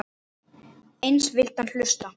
Eins vildi hann hlusta.